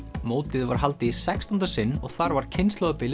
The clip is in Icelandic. mótið var haldið í sextánda sinn og þar var kynslóðabilið